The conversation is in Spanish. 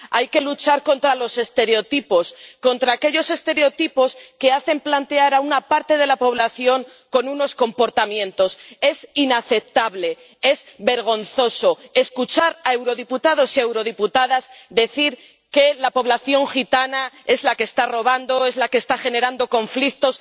Hay que luchar contra los estereotipos, contra aquellos estereotipos que atribuyen a una parte de la población ciertos comportamientos. Es inaceptable, es vergonzoso escuchar a eurodiputados y a eurodiputadas decir que la población gitana es la que está robando, es la que está generando conflictos.